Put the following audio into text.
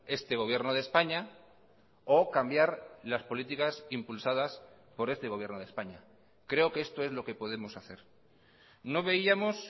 este gobierno de españa o cambiar las políticas impulsadas por este gobierno de españa creo que esto es lo que podemos hacer no veíamos